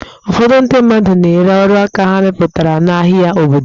Ụfọdụ ndị mmadụ na-ere ọrụaka ha mepụtara n'ahịa obodo.